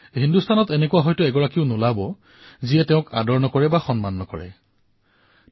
বোধহয় এনে কোনো ভাৰতীয় নোলাব যাৰ হৃদয়ত তেওঁৰ প্ৰতি আদৰ আৰু সন্মানৰ ভাৱ নাথাকিব